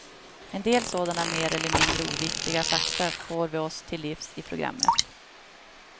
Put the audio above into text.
En del sådana mer eller mindre oviktiga fakta får vi oss till livs i programmet.